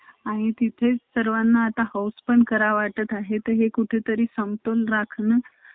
आणि fashion designing मध्ये जर एक आपल्याला आसून आपन तर वेगळाच काही तरी करत असतो एजू